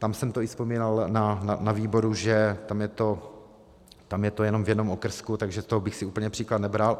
Tam jsem to i vzpomínal na výboru, že tam je to jenom v jednom okrsku, takže z toho bych si úplně příklad nebral.